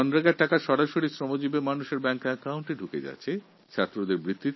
এখন বেশির ভাগ জায়গায় এই টাকা সোজাসুজি শ্রমিকের ব্যাংক অ্যাকাউন্টে পৌঁছে যাচ্ছে